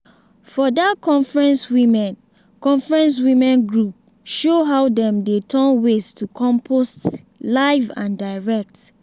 for that conference women conference women group show how dem dey turn waste to compost live and direct!